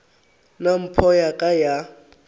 nna mpho ya ka ya